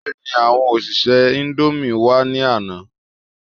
Bẹ́ẹ̀ni, àwọn òṣìṣẹ́ indomie wá ní àná